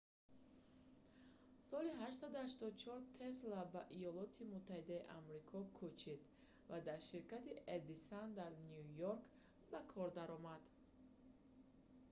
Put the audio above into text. соли 1884 тесла ба иёлоти муттаҳидаи амрико кӯчид ва дар ширкати эдисон дар ню йорк ба кор даромад